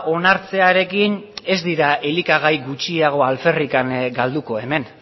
onartzearekin ez dira elikagai gutxiago alferrik galduko hemen